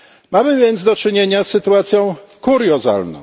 Mamy więc do czynienia z sytuacją kuriozalną.